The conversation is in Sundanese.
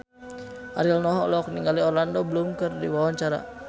Ariel Noah olohok ningali Orlando Bloom keur diwawancara